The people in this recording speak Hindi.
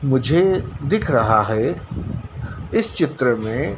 मुझे दिख रहा है इस चित्र मे--